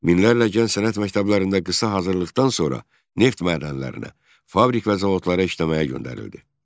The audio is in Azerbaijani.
Minlərlə gənc sənət məktəblərində qısa hazırlıqdan sonra neft mədənlərinə, fabrik və zavodlara işləməyə göndərildi.